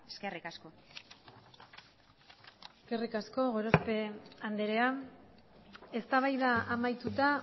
eskerrik asko eskerrik asko gorospe andrea eztabaida amaituta